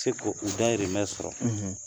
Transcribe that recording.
Se ko u dahirimɛ sɔrɔ,